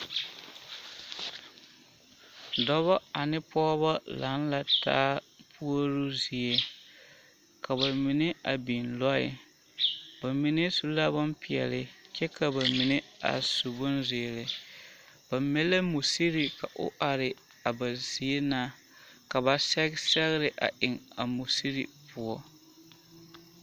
Dɔbɔ ane pɔgebɔ laŋ la taa puoruu zie ka bamine a biŋ lɔɛ bamine su la bompeɛle kyɛ ka bamine a su bonzeere ba mɛ la musiri ka o are a ba zie na ka ba sɛge sɛgere a eŋ a musiri poɔ.